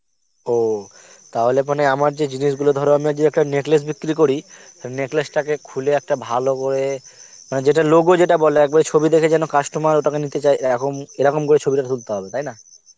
ও, তাহলে মানে আমার যে জিনিস গুলো ধর আমার যে একটা neckless বিক্রি করি neckless তাকে খুলে একটা ভালো করে মানে যেটা logo যেতে বলে একবারে ছবি দেখে যেন customer ওটাকে নিতে চায় এরকম এরকম করে ছবিটা তুলতে হবে তাই না